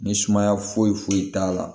Ni sumaya foyi foyi t'a la